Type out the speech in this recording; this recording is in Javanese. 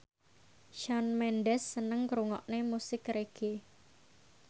Shawn Mendes seneng ngrungokne musik reggae